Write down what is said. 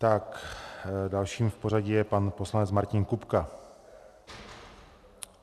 Tak dalším v pořadí je pan poslanec Martin Kupka.